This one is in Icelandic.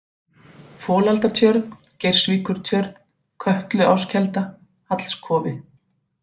Folaldatjörn, Geirsvíkurtjörn, Kötluáskelda, Hallskofi